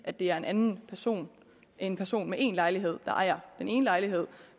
det er en person en person med én lejlighed der ejer den ene lejlighed